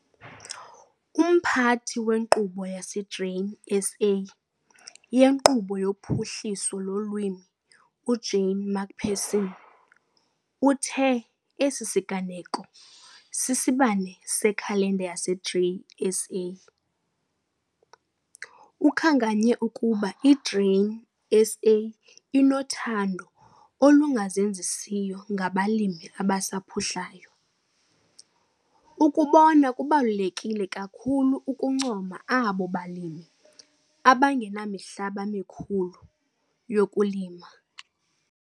Umphathi wenkqubo yaseGrain SA yeNkqubo yoPhuhliso lomLimi, uJane McPherson, uthe esi siganeko sisibane sekhalenda yaseGrain SA. Ukhankanye ukuba iGrain SA inothando olungazenzisiyo ngabalimi abasaphuhlayo. Ukubona kubalulekile kakhulu ukubancoma abo balimi abangenamihlaba emikhulu yokulima.